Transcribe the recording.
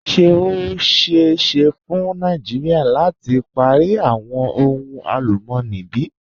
Ṣe o ṣeẹ ṣe fun Nàìjíríà lati pari awọn ohun alùmọ̀ní bí?